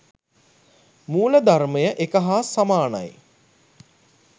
මූලධර්මය එක හා සමානයි.